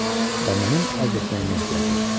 Və mənim ərz etməyimə ehtiyac yoxdur.